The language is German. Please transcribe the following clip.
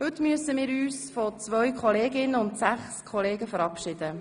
Heute müssen wir uns von einer Kollegin und sechs Kollegen verabschieden.